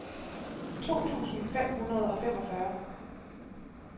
to tusind fem hundrede og femogfyrre